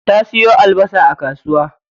Ta siyo albasa a kasuwa.